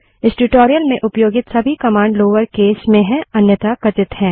इस ट्यूटोरियल में उपयोगित सभी कमांड लोअर केस अन्यथा कथित हैं